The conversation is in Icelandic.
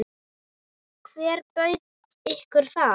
Hver bauð ykkur það?